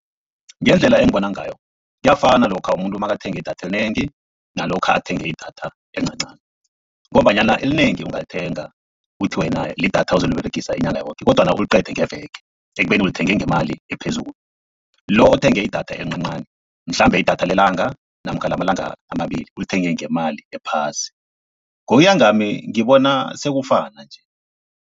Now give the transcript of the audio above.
Ngendlela engibona ngayo kuyafana lokha umuntu nakathenge idatha elinengi nalokha athenge idatha elincancani, ngombanyana elinengi ungalithenga uthi wena lidatha ozoliberegisa inyanga yoke kodwana uliqede ngeveke ekubeni ulithenge ngemali ephezulu. Lo othenge idatha elincancani mhlambe idatha lelanga namkha lamalanga amabili, ulithenge ngemali ephasi ngokuya ngami ngibona sekufana nje.